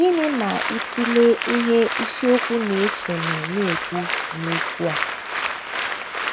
Gịnị ma ị tụlee ihe isiokwu na - esonụ na - ekwu n’okwu a?